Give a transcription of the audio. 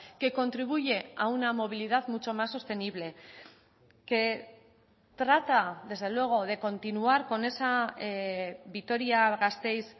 que contribuye a una movilidad mucho más sostenible que trata desde luego de continuar con esa vitoria gasteiz